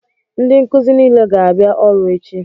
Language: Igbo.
Ndị nkụzi nile ga-abịa ọrụ echi!